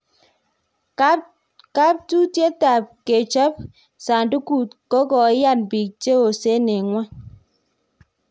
Kaptutiet ab kechop sandukut ko koiyan biik che osen en ngwony